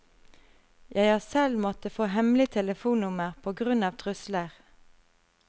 Jeg har selv måttet få hemmelig telefonnummer på grunn av trusler.